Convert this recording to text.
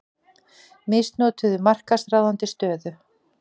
Misnotuðu markaðsráðandi stöðu